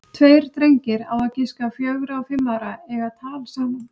Tveir drengir, á að giska fjögra og fimm ára, eiga tal saman.